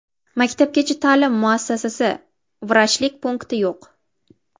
Maktabgacha ta’lim muassasasi, vrachlik punkti yo‘q.